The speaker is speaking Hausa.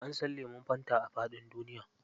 An san lemun fanta a faɗin duniya.